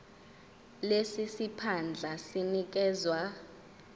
lesi siphandla sinikezwa